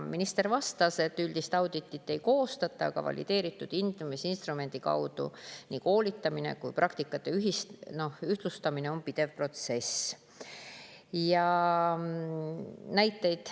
Minister vastas, et üldist auditit ei koostata, aga valideeritud hindamisinstrumendi kaudu koolitamine ja ka praktikate ühtlustamine on pidev protsess.